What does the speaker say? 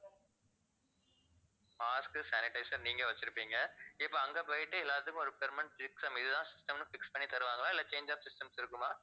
mask. sanitizer நீங்க வச்சிருப்பீங்க இப்ப அங்க போயிட்டு எல்லாத்துக்கும் ஒரு permanent system இதுதான் system னு fix பண்ணி தருவாங்களா இல்ல change of systems இருக்குமா